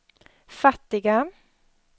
fattiga